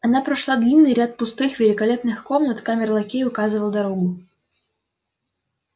она прошла длинный ряд пустых великолепных комнат камер-лакей указывал дорогу